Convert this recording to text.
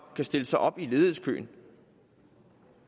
kan stille sig op i ledighedskøen